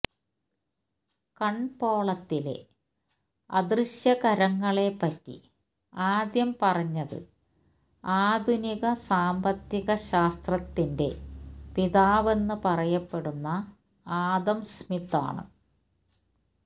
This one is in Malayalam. കന്പോളത്തിലെ അദൃശ്യകരങ്ങളെ പറ്റി ആദ്യം പറഞ്ഞത് ആധുനിക സാന്പത്തിക ശാസ്ത്രത്തിന്റെ പിതാവെന്ന് പറയപ്പെടുന്ന ആദം സ്മിത്ത് ആണ്